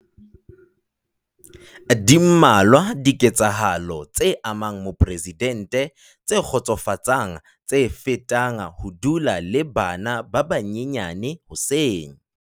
Di mmalwa dike tsahalo tse amang moporesidente tse kgotsofatsang tse fetang ho dula le bana ba banyenyane hoseng.